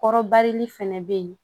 Kɔrɔbarili fɛnɛ be yen